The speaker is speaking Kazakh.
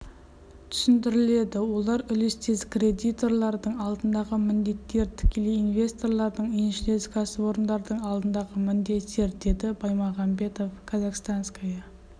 түсіндіріледі олар үлестес кредиторлардың алдындағы міндеттер тікелей инвесторлардың еншілес кәсіпорындардың алдындағы міндеттер деді баймағамбетов казахстанская